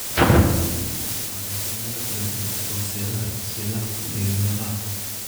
Waxa laga yaabaa inay saamayso meelo kala duwan oo seedaha iyo seedaha ku dhegaan lafaha.